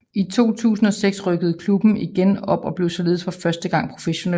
I 2006 rykkede klubben igen op og blev således for første gang professionel